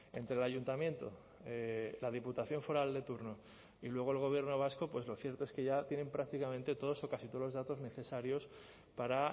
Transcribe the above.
entre el ayuntamiento la diputación foral de turno y luego el gobierno vasco lo cierto es que ya tienen prácticamente todos o casi todos los datos necesarios para